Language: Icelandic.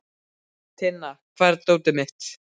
Tinna, hvar er dótið mitt?